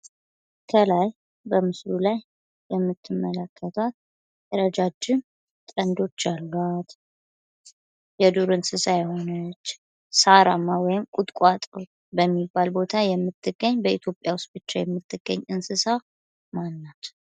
ከላይ በምስሉ ላይ የምትመለከቱት ረጃጅም ቀንዶች ያሏት ፥ የዱር እንስሳ የሆነች፥ ሣራማ ወይም ቁጥቋጦ በሚባል ቦታ የምትገኝ ወይም በኢትዮጵያ ብቻ የምትገኝ እንሰሳት ምን ትባላለች?